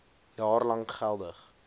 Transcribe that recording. jaar lank geldig